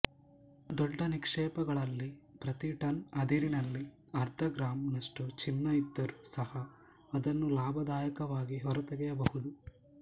ದೊಡ್ಡ ನಿಕ್ಷೇಪಗಳಲ್ಲಿ ಪ್ರತಿ ಟನ್ ಅದಿರಿನಲ್ಲಿ ಅರ್ಧ ಗ್ರಾಮ್ ನಷ್ಟು ಚಿನ್ನ ಇದ್ದರೂ ಸಹ ಅದನ್ನು ಲಾಭದಾಯಕವಾಗಿ ಹೊರತೆಗೆಯಬಹುದು